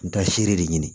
N bɛ taa seere de ɲini